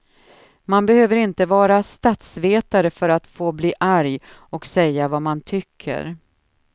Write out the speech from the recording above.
Man behöver inte vara statsvetare för att få bli arg och säga vad man tycker.